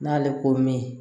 N'ale ko min